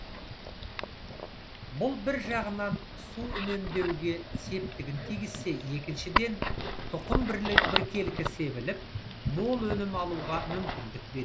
бұл бір жағынан су үнемдеуге септігін тигізсе екіншіден тұқым біркелкі себіліп мол өнім алуға мүмкіндік береді